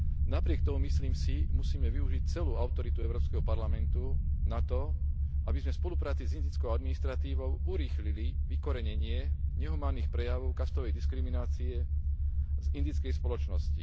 Napriek tomu, myslím si, musíme využiť celú autoritu Európskeho parlamentu na to, aby sme v spolupráci s indickou administratívou urýchlili vykorenenie nehumánnych prejavov kastovej diskriminácie z indickej spoločnosti.